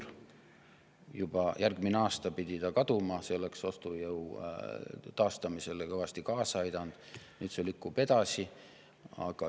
See pidi kaduma juba järgmisel aastal ja see oleks ostujõu taastamisele kõvasti kaasa aidanud, aga nüüd see lükkub edasi.